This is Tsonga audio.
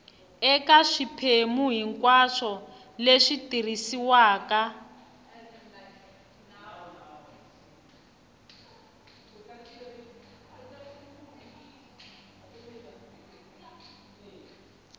eka swiphemu hinkwaswo leswi tirhisiwaka